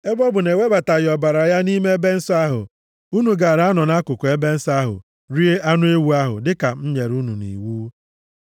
Ebe ọ bụ na e webataghị ọbara ya nʼime Ebe Nsọ ahụ, unu gaara anọ nʼakụkụ ebe nsọ ahụ rie anụ ewu ahụ, dịka m nyere unu nʼiwu.”